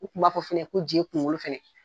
U kun b'a fɔ fɛnɛ ko je kunkolo fɛnɛ